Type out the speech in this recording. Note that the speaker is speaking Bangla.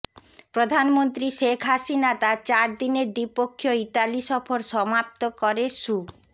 প্রধানমন্ত্রী শেখ হাসিনা তার চার দিনের দ্বিপক্ষীয় ইতালি সফর সমাপ্ত করে শু